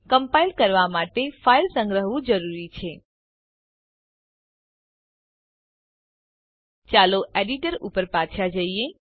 compile કરવા પહેલાં file સંગ્રહવું જરૂરી છે ચાલો એડિટર ઉપર પાછા જઈએ